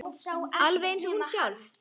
Alveg eins og hún sjálf.